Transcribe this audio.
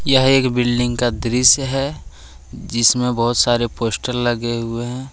यह एक बिल्डिंग का दृश्य है जिसमें बहोत सारे पोस्टर लगे हुएं हैं।